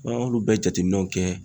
An y'olu bɛɛ jateminɛw kɛ